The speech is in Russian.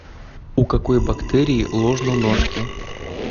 у какой бактерии ложноножки